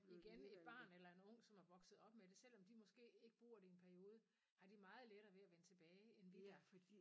Igen et barn eller en ung som er vokset op med det selvom de måske ikke bruger det en periode har de meget lettere ved at vende tilbage end vi der